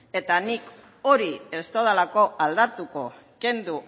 eta nik hori ez dudalako aldatuko kendu